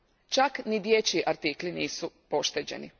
Čak ni dječji artikli nisu pošteđeni.